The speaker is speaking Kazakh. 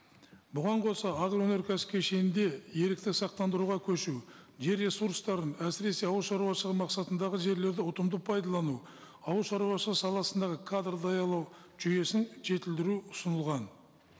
бұған қоса агроөнеркәсіп кешенінде ерікті сақтандыруға көшу жер ресурстарын әсіресе ауылшаруашылығы мақсатындағы жерлерді ұтымды пайдалану ауылшаруашылығы саласындағы кадр даярлау жүйесін жетілдіру ұсынылған